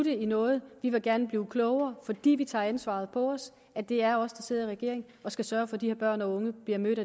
noget vi vil gerne blive klogere fordi vi tager det ansvar på os at det er os der sidder i regering og skal sørge for at de her børn og unge bliver mødt